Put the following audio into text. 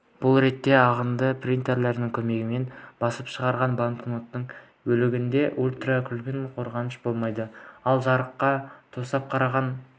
бұл ретте ағынды принтердің көмегімен басып шығарылған банкноттың бөлігінде ультракүлгін қорғаныш болмайды ал жарыққа тосып қараған